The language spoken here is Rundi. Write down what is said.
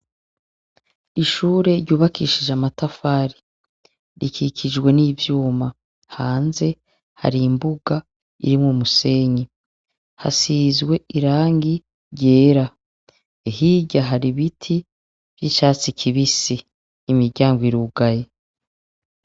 Ishure ryubakishije amatafari, rikikijwe n'ivyuma, hanze hari imbuga irimwo umusenyi, hasizwe irangi ryera; hirya hari ibiti vy'icatsi kibisi; imiryango irugaye.